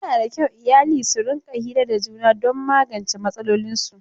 Yana da kyau iyali su rinƙa hira da juna don magance matsalolinsu.